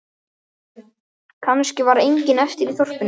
Kannski var enginn eftir í þorpinu.